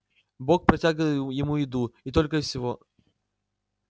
бог протягивал ему еду и только и всего